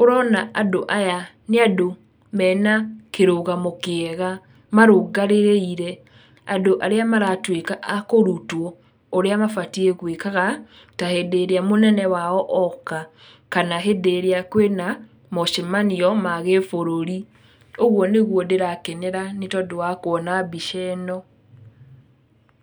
ũrona andũ aya nĩ andũ mena kĩrũgamo kĩega marũngarĩrĩire, andũ arĩa maratwĩka a kũrutwo ũrĩa mabatiĩ gwĩkaga ta hĩndĩ ĩrĩa mũnene wao oka, kana hĩndĩ ĩrĩa kwĩna mocemanio ma gĩbũrũri, ũguo nĩguo ndĩrakenera nĩtondũ wa kuona mbica ĩno.